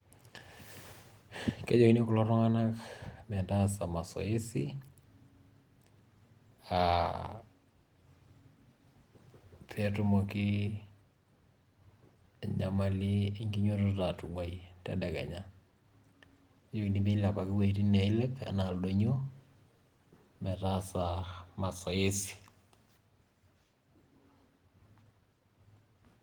Keyieuni kulo tung'anak metaasa masoesi aa peetumoki enyamali enkinyiototo atung'uai tedekenya, neyieuni milepaki iwueitin niilep enaa ildoinyio metaasa masoesi.